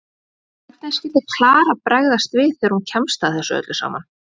Hvernig skyldi Klara bregðast við þegar hún kemst að öllu saman?